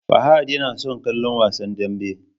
Fahad yana son kallon Wasan Danbe.